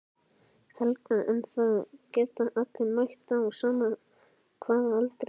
Helga: En það geta allir mætt á sama hvaða aldri?